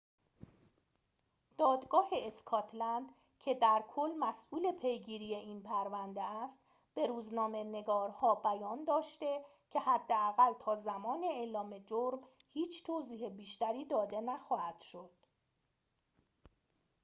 دادگاه اسکاتلند که در کل مسئول پیگیری این پرونده است به روزنامه‌نگارها بیان داشته که حداقل تا زمان اعلام جرم هیچ توضیح بیشتری داده نخواهد شد